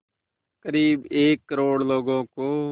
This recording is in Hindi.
क़रीब एक करोड़ लोगों को